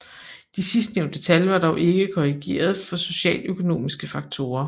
De sidstnævnte tal var dog ikke korrigeret for socioøkonomiske faktorer